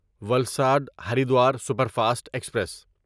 Valsad Haridwar superfast express